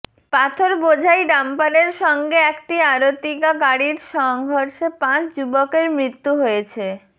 পাথরবোঝাই ডাম্পারের সঙ্গে একটি আরতিগা গাড়ির সংঘর্ষে পাঁচ যুবকের মৃত্যু হয়েছে